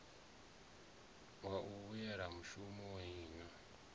wa u vhuyela mushumoni na